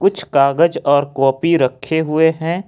कुछ कागज और कॉपी रखे हुए हैं।